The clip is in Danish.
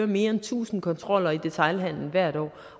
mere end tusind kontroller i detailhandelen hvert år